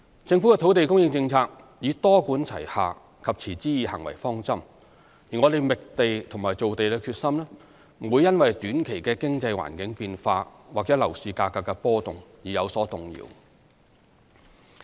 政府的土地供應政策以多管齊下及持之以恆為方針，而我們覓地和造地的決心不會因短期的經濟環境變化或樓市價格的波動而有所動搖。